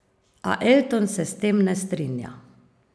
A Elton se s tem ne strinja.